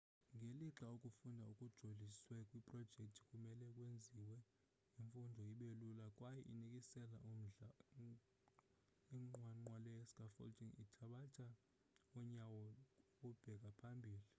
ngelixa ukufunda okujoliswe kwiprojekthi kumele kwenze imfundo ibelula yaye inikise umdla inqwanqwa le scaffolding ithabatha unyawo ukubheka phambili